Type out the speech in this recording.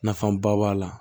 Nafaba b'a la